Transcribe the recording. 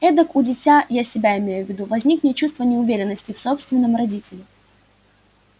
эдак у дитя я себя имею в виду возникнет чувство неуверенности в собственном родителе